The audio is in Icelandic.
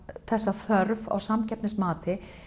þessa þörf á samkeppnismati